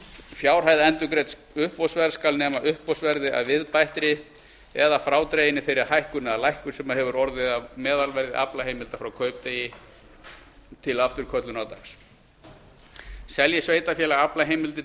fjárhæð endurgreidds uppboðsverð skal nema uppboðsverði að viðbættri eða frádreginni þeirri hækkun eða lækkun sem orðið hefur á meðalverði aflaheimilda frá kaupdegi til afturköllunardags selji sveitarfélag aflaheimildir